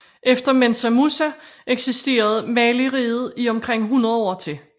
Efter Mensa Musa eksisterede Maliriget i omkring hundrede år til